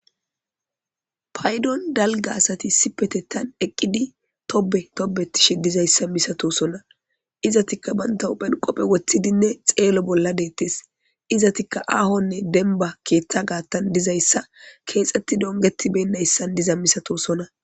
paydon dalga asati issippetethani eqqidi tobe tobe tishe dizayssa misatosona izatikka banta uphen qophe woththidinne xeelo bolla deettes izatikka aahonne denba keeththa gaattan dizayssa keexetti dometibeyinayisan diza misatosona